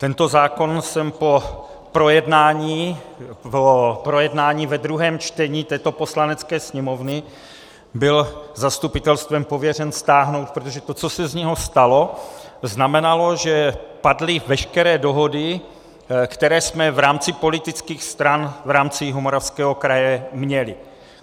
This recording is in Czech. Tento zákon jsem po projednání ve druhém čtení této Poslanecké sněmovny byl zastupitelstvem pověřen stáhnout, protože to, co se z něho stalo, znamenalo, že padly veškeré dohody, které jsme v rámci politických stran v rámci Jihomoravského kraje měli.